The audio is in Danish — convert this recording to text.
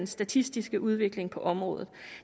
statistisk ser udviklingen på området